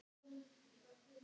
Þetta eru rúnir.